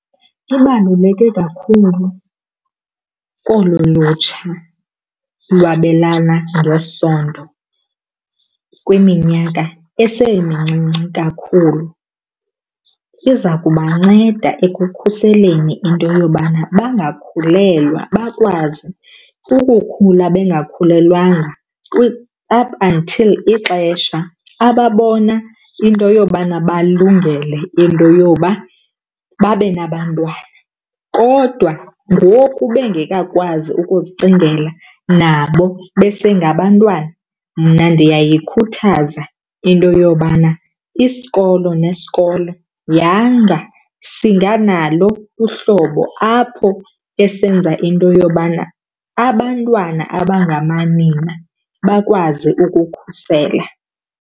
Ibaluleke kakhulu kolu lutsha lwabelana ngesondo kwiminyaka esemncinci kakhulu. Iza kubanceda ekukhuseleni into yobana bangakhulelwa bakwazi ukukhula bengakhulelwanga up until ixesha ababona into yobana balungele into yoba babe nabantwana. Kodwa ngoku bengekakwazi ukuzicingela nabo besengabantwana, mna ndiyayikhuthaza into yobana isikolo nesikolo yanga singanalo uhlobo apho esenza into yobana abantwana abangamanina bakwazi ukukhusela.